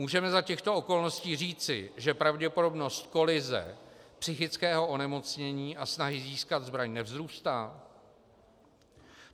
Můžeme za těchto okolností říci, že pravděpodobnost kolize psychického onemocnění a snahy získat zbraň nevzrůstá?